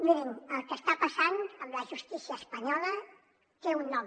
mirin el que està passant amb la justícia espanyola té un nom